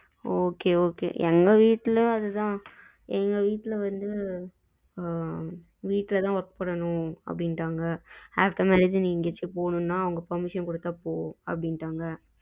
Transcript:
okay okay எங்க வீட்டுலயும் அது தான் எங்க வீட்டுல வந்து ஆ வீட்டுல தான் work பண்ணனும் அப்படின்னுட்டாங்க after marriage எங்கயாச்சும்போணுன்னா அவங்க permission குடுத்தா போ அப்படின்னுட்டாங்க